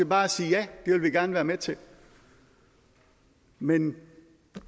bare sige ja det vil vi gerne være med til men